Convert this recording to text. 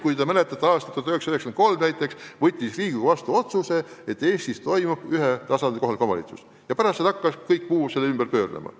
Kui te mäletate, siis aastal 1993 võttis Riigikogu vastu otsuse, et Eestis on ühetasandiline kohalik omavalitsus, ja kõik muu hakkas selle ümber pöörlema.